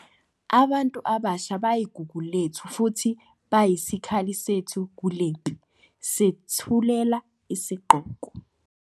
Abantu abasha bayigugu lethu, futhi bayisikhali sethu kulempi. Sethulela isigqoko.